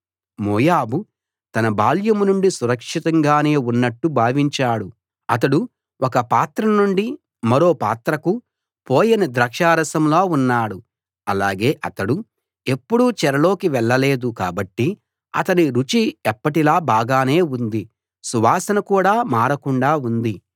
మోయాబు తన బాల్యం నుండీ సురక్షితంగానే ఉన్నట్టు భావించాడు అతడు ఒక పాత్రనుండి మరో పాత్రకు పోయని ద్రాక్షరసంలా ఉన్నాడు అలాగే అతడు ఎప్పుడూ చెరలోకి వెళ్ళలేదు కాబట్టి అతని రుచి ఎప్పటిలా బాగానే ఉంది సువాసన కూడా మారకుండా ఉంది